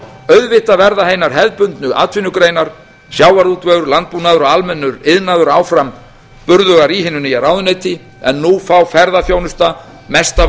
auðvitað verða hinar hefðbundnu atvinnugreinar sjávarútvegur landbúnaður og almennur iðnaður áfram burðugar í hinu nýja ráðuneyti en nú fá ferðaþjónusta mesta